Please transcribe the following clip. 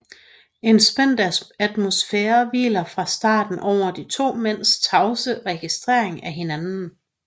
En spændt atmosfære hviler fra starten over de to mænds tavse registrering af hinanden